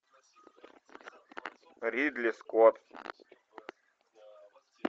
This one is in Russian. ридли скотт